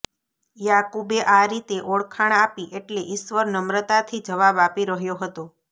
યાકુબે આ રીતે ઓળખાણ આપી એટલે ઈશ્વર નમ્રતાથી જવાબ આપી રહ્યો હતો